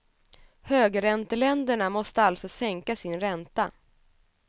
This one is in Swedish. Högränteländerna måste alltså sänka sin ränta.